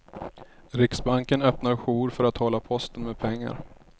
Riksbanken öppnar jour för att hålla posten med pengar.